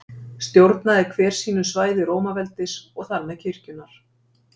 Stjórnaði hver sínu svæði Rómaveldis og þar með kirkjunnar.